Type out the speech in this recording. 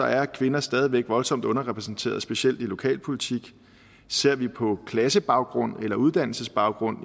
er kvinder stadig væk voldsomt underrepræsenteret specielt i lokalpolitik ser vi på klassebaggrund eller uddannelsesbaggrund